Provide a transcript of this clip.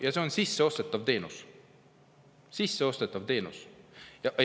Ja see on sisseostetav teenus – sisseostetav teenus!